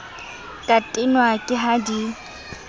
ka tenwa ke ha di